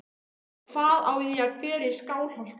Og hvað á ég að gera í Skálholti?